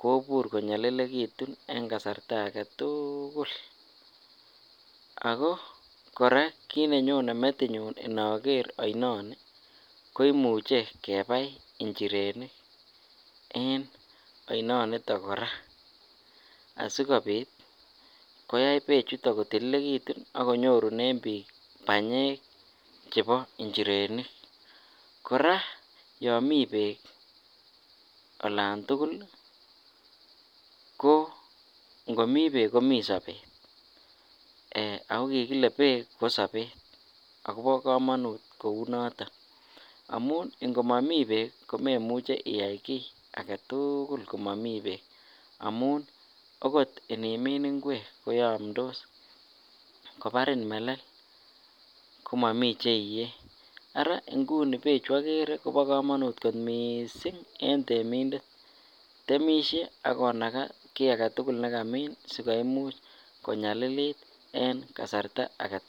kobur konyolilekitun en kasarta aketukul, ak ko kora kiit nenyone metinyun inoker oinoni koimuche kebai njirenik en oinoniton kora asikobit koyai bechuton kotililekitun ak ko nyorunen biik banyek chebo njirenik, kora yoon mii beek olan tukul ko ng'omii beek komii sobet ak ko kikile beek kosobet ak ko bokomonut kouu noton amun ing'omomi beek komemuch iyai kii aketukul komomi beek amun okot inimin ing'wek koyomdos, kobarin melel komomii che iyee araa ing'uni bechu okere en yuu ko bokomonut mising en temindet, temishe ak konakaa kii aketukul nekamin sikoimuch konyalilit en kasarta akee.